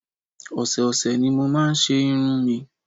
Ọ̀sẹ̀ ọ̀sẹ̀ ni mo máa ń ṣe irun mi